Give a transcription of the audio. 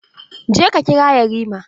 Je ka kira yarima!